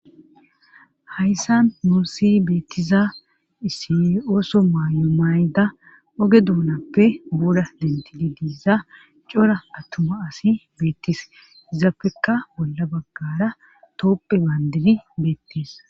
Hayssan muusi beettiza issi ooso maaymayda oge duunappe buura dentidi diiza cora attuma asi beettis hizappekka bolla baggara tooppe baandidi beettees.